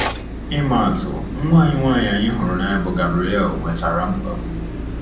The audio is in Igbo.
Ịma atụ, nwa anyị nwanyị anyị hụrụ n’anya bụ́ Gabriele nwetara mkpagbu.